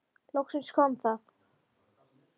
Loks kom það.